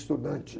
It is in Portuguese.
Estudante.